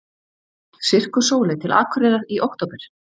Sirkus Sóley til Akureyrar í október